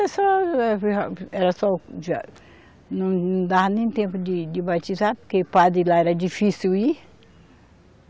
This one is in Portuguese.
era só... Não, não dava nem tempo de, de batizar, porque padre lá era difícil ir.